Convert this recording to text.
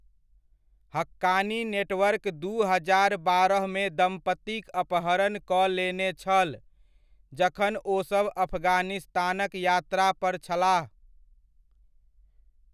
Haqqani network दू हजार बारहमे दम्पतिक अपहरण कऽ लेने छल, जखन ओसभ अफगानिस्तानक यात्रा पर छलाह।